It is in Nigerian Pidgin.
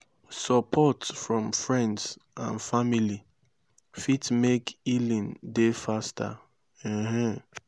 sopport from friends and family fit mek healing dey faster um